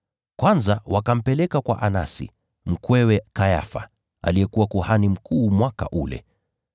Kwanza wakampeleka kwa Anasi, mkwewe Kayafa, aliyekuwa kuhani mkuu mwaka ule.